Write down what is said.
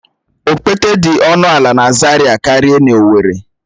Okpete dị ọnụ ala na Zaria karịa n'owerri